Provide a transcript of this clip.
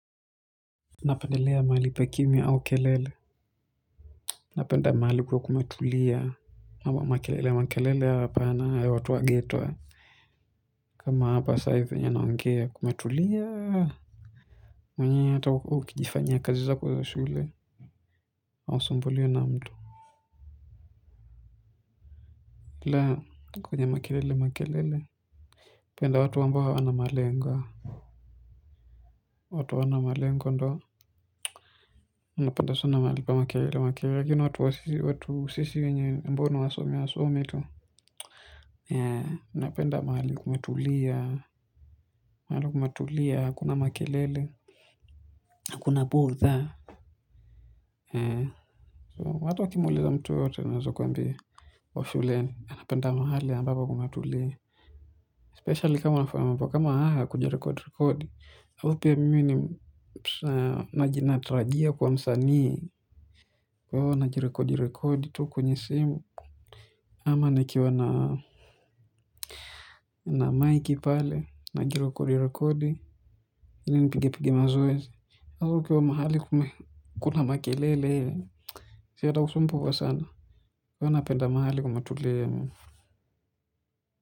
Napendelea mahalipa kimia au kelele. Napenda mahali kuwe kumetulia ama makelele makelele hapana ya watu wa geto kama hapa sai venye naongea kumetulia. Mwenyewe hata huko ukijifanya kazi zako zaa shule hausumbuliwi na mtu. Hila kwenye makelele makelele penda watu ambao hawana malengo. Watu hawana malengo ndo unapenda sana mahali pa makelele makelele lakini watu wa sisi watu sisi wenye mbono wa somi wa somi tu. Na penda mahali kumetulia mahali kumetulia, hakuna makelele. Hakuna botha watu wakimuuliza mtu yeyetote anaweza kuambia wa shuleni, anapenda mahali ambapo kumetulia Specially kama anafayama mambo kama haya kujirekodi rekodi, hau pia mimi ni psa najina trajia kwa msanii. Kwahivo na jirekodi rekodi tu kwenye simu ama nikiwa na miki pale najirekodi rekodi ili nipige zoezi si atakusumbuwa sana kwahio napenda mahali kumetulia.